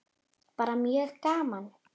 Bara mjög gaman.